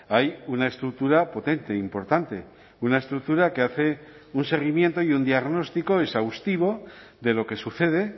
hay una estructura potente importante una estructura que hace un seguimiento y un diagnóstico exhaustivo de lo que sucede